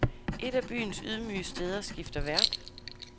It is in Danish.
Et af byens ydmyge steder skifter vært.